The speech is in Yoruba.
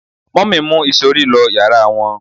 mummy mu isori lo yara wón